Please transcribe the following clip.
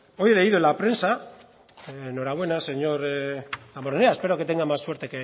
hoy he leído en la prensa enhorabuena señor damborenea espero que tenga más suerte